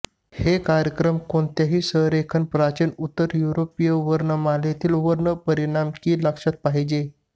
हे कार्यक्रम कोणत्याही संरेखन प्राचीन उत्तर युरोपीय वर्णमालेतील वर्ण परिणाम की लक्षात पाहिजे